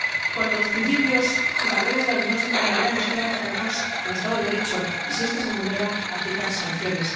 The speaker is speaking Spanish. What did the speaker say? Cuando los principios y valores de la Unión se tambalean, nos queda aferrarnos al Estado de Derecho y, si este se vulnera, aplicar sanciones.